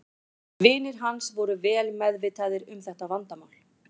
Vinir hans voru vel meðvitaðir um þetta vandamál.